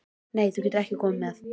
Nei, þú getur ekki komið með.